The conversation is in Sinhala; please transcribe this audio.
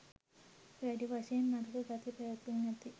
වැඩි වශයෙන් නරක ගති පැවැතුම් ඇති